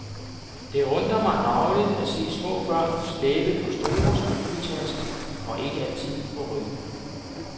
Det undrer mig dagligt at se små børn slæbe på store skoletasker og ikke altid på ryggen.